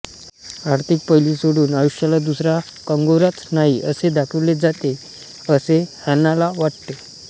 आर्थिक पैलू सोडून आयुष्याला दुसरा कंगोराच नाही असे दाखविले जाते असे हॅनाला वाटते